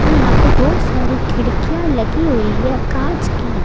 यहां पे बहोत सारी खिड़कियां लगी हुई है कांच की--